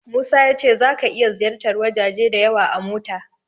Musa ya ce zaka iya ziyartar wajaje da yawa a mota.